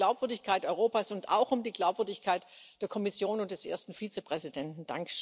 Es geht um die Glaubwürdigkeit Europas und auch um die Glaubwürdigkeit der Kommission und des ersten Vizepräsidenten.